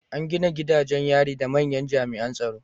An gina gidajen yari da manyan jami’an tsaro